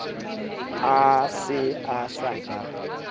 a se a sa ba